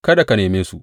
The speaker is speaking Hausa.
Kada ka neme su.